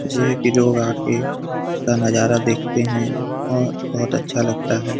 झीले पे लोग आके उसका नजारा देखते है और बोहोत अच्छा लगता है।